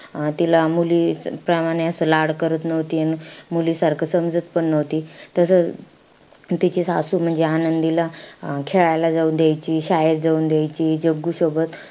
अं तिला मुली प्रमाणे असं लाड करत नव्हती. अन मुलीसारखं समजत पण नव्हती. तसं तिची सासू म्हणजे आनंदीला खेळायला जाऊ द्यायची, शाळेत जाऊन द्यायची जग्गू सोबत.